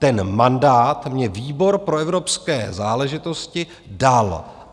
Ten mandát mně výbor pro evropské záležitosti dal.